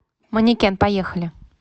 манекен поехали